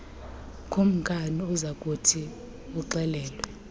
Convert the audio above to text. kukumkani uzakuthi uxelelwe